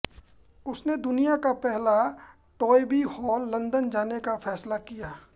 उसने दुनिया का पहला टॉयबी हॉल लंदन जाने का फैसला किया